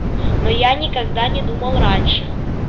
но я никогда не думал раньше